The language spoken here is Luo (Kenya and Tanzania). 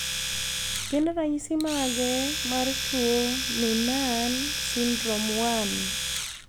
Gin ranyisi mage mar tuo Noonan syndrome 1?